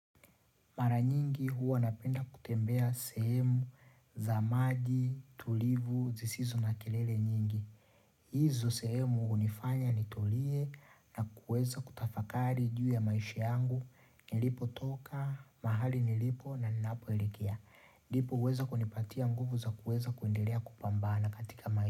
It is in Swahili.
Mara nyingi huwa napenda kutembea sehemu za maji, tulivu, zisizo na kelele nyingi. Hizo sehemu hunifanya nitulie na kuweza kutafakari juu ya maisha yangu, nilipotoka, mahali nilipo na ninapoelekea. Ndipo huweza kunipatia nguvu za kuweza kuendelea kupambana katika maisha.